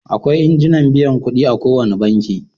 Akwai injin biyan kuɗi a ko wane banki.